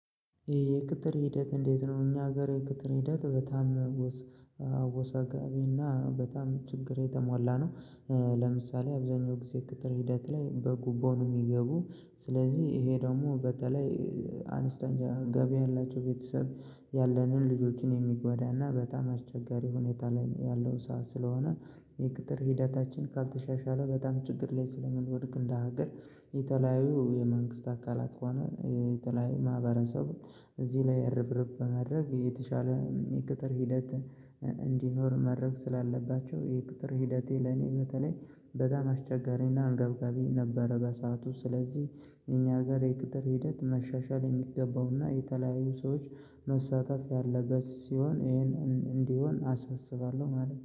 የእቅጥር ሂደት እንዴት ነ? እኛ ሀገር የእቅጥር ሂደት በጣም አወሰጋቢና በጣም ችግር የተሟላ ነው ለምሳሌ አብዛኛው ጊዜ ቅጥር ሂደት ላይ በጉቦ ነው የሚገቡ ስለዚህ ይሄ ደግሞ በተለይ አንስተኛ ገቢ ያላቸው ቤተሰብ ያለንን ልጆችን የሚጎዳና በጣም አስቸጋሪ ሁኔታ ላይ ያለው ሰዓት ስለሆነ የቅጥር ሂደታችን ካልተሻሻለ በጣም ችግር ላይ ስለምንወድቅ እንደ ሀገር የተለያዩ የመንግስት አካላት ከሆነ የተለያዩ ማህበረሰቡ እዚህ ነው ርብርብ በመድረግ የተሻለ የቅጥር ሂደት እንዲኖር ማድረግ ስላለባቸው የቅጥር ሂደቴ ለኔ በተለይ በጣም አስቸጋሪና አንገብጋቢ ነበረ በሰአቱ ስለዚህ እኛ ጋር የቅጥር ሂደት መሻሻል የሚገባውና የተለያዩ ሰዎች መሳተፍ ያለበት ሲሆን ይሄን እንዲሆን አሰስባለሁ ማለት ነው።